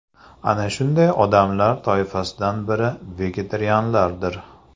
Ana shunday odamlar toifasidan biri vegetarianlardir.